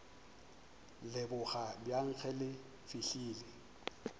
leboga bjang ge le fihlile